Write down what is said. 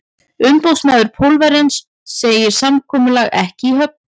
Umboðsmaður Pólverjans segir samkomulag ekki í höfn.